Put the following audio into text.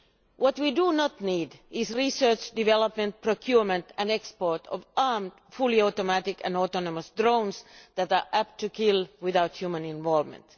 What we do not need is research, development, procurement and export of armed, fully automatic and autonomous drones that are apt to kill without human involvement.